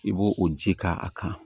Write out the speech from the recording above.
I b'o o ji k'a kan